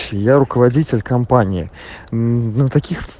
я руководитель компании